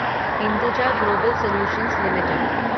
Hinduja global solutions limited